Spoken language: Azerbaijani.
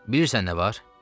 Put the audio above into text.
Bilirsən nə var?